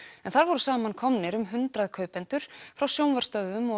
en þar voru samankomnir um hundrað kaupendur frá sjónvarpsstöðvum og